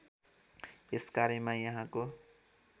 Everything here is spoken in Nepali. यस कार्यमा यहाँको